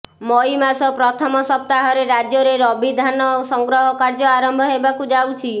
ମଇ ମାସ ପ୍ରଥମ ସପ୍ତାହରେ ରାଜ୍ୟରେ ରବିଧାନ ସଂଗ୍ରହ କାର୍ଯ୍ୟ ଆରମ୍ଭ ହେବାକୁ ଯାଉଛି